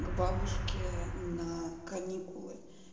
к бабушке на каникулы